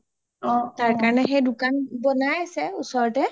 তাৰ কাৰণে সেই দুকোন বনাই আছে ওচৰতে